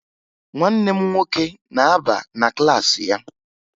Nwanne m nwoke na-aba na klaasị ya